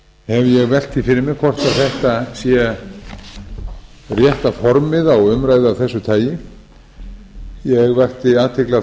ég velt því fyrir mér hvort þetta sé rétta formið á umræðu af þessu tagi ég vakti athygli á